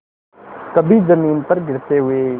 कभी जमीन पर गिरते हुए